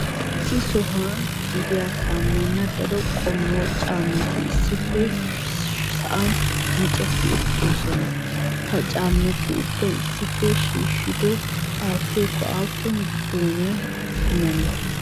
Issi sohuwan gediya kamena daro qommo caammati issippe sa'an micceti uttidoosona. Ha caammati ubbay issippe shiishshido aattiyako aappun joone kumanne?